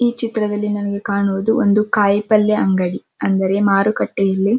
ಈ ಚಿತ್ರದಲ್ಲಿ ನಮಗೆ ಕಾಣುವುದು ಒಂದು ಕಾಯಿ ಪಲ್ಯ ಅಂಗಡಿ ಅಂದ್ರೆ ಮಾರುಕಟ್ಟೆಯಲ್ಲಿ --